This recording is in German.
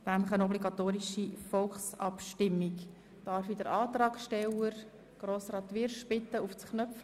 Ich bitte den Antragsteller, Grossrat Wyrsch, uns diesen zu erläutern.